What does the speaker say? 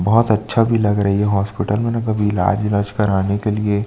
बहुत अच्छा भी लग रही है हॉस्पिटल में ना कभी इलाज विलाज कराने के लिए --